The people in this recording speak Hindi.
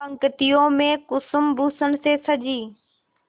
पंक्तियों में कुसुमभूषण से सजी